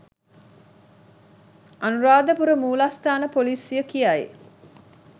අනුරාධපුර මූලස්ථාන පොලිසිය කියයි.